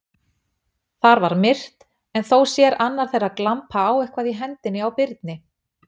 Þar var myrkt, en þó sér annar þeirra glampa á eitthvað í hendinni á Birni.